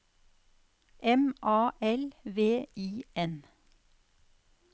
M A L V I N